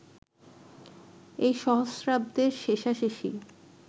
এই সহস্রাব্দের শেষাশেষি